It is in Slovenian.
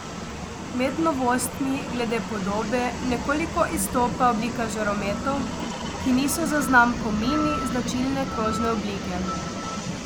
Med novostmi glede podobe nekoliko izstopa oblika žarometov, ki niso za znamko Mini značilne krožne oblike.